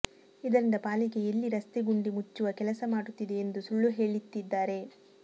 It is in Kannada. ಇದರಿಂದ ಪಾಲಿಕೆ ಎಲ್ಲಿ ರಸ್ತೆ ಗುಂಡಿ ಮುಚ್ಚುವ ಕೆಲಸ ಮಾಡುತ್ತಿದೆ ಎಂದು ಸುಳ್ಳು ಹೇಳಿತಿದ್ದಾರೆ